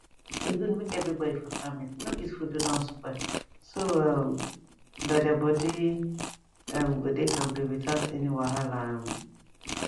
e good make everybody for family no eat food wey don spoil so um that their body um go dey kampe without any wahala um